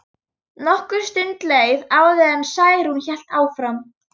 Nokkur stund leið áður en Særún hélt áfram.